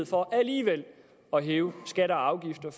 for alligevel at hæve skatter og afgifter